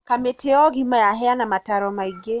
Kamĩtĩya ũgima yaheana mataro maingĩ.